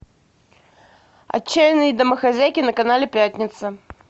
отчаянные домохозяйки на канале пятница